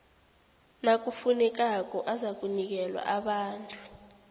nakufunekako azakunikelwa abantu